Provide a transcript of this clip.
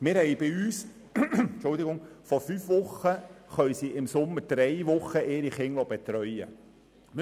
Bei uns können die Eltern während drei von fünf Wochen im Sommer die Kinder betreuen lassen.